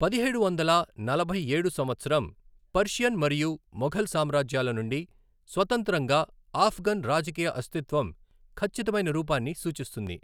పదిహేడు వందల నలభై ఏడు సంవత్సరం పర్షియన్ మరియు మొఘల్ సామ్రాజ్యాల నుండి స్వతంత్రంగా ఆఫ్ఘన్ రాజకీయ అస్తిత్వం ఖచ్చితమైన రూపాన్ని సూచిస్తుంది.